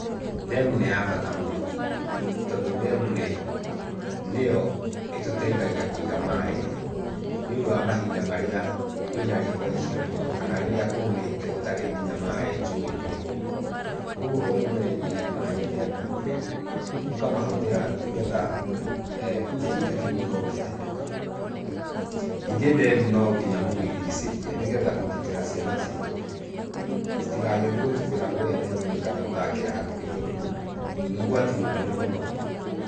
Ndemu nĩ ya bata mũno, tondu ndemu nĩyo ĩtuteithagia kũiga maaĩ nĩundũ wa mahinda marĩa kwĩna riũa icio mũno, kana rĩrĩa kũũmĩte gũtarĩ nginya maaĩ, njũĩ nĩ hũu. Kwoguo okorwo nĩ mũreigĩire maaĩ ndemu-inĩ, mũkamahũthĩra nĩgetha kĩhinda kĩu gĩkorwo kĩa hĩtũka. Ningĩ ndemu no nginya mũmĩirigicĩrie, nĩgetha kũgitĩra ciana citũ citigagĩthi gũtubĩra kũrĩa ndemu-inĩ kana gũthakĩra hakuhĩ tondũ nĩ ũgwati mũnene mũno.